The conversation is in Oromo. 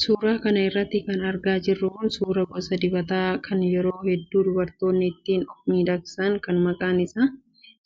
Suuraa kana irraa kan argaa jirru suuraa gosa dibataa kan yeroo hedduu dubartoonni ittiin of miidhagsan kan maqaan isaa